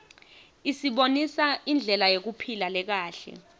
isibonisa indlela yekuphila lekahle